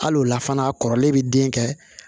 Hali o la fana a kɔrɔlen bɛ den kɛ